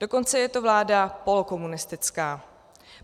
Dokonce je to vláda polokomunistická.